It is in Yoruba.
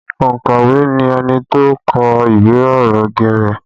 Ònkọ̀wé ni ẹni tó kọ ìwé ọ̀rọ̀ geere